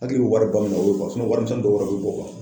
Hakili bɛ wariba min o y'o ye wari minsɛnnin dɔ wɛrɛ bɛ bɔ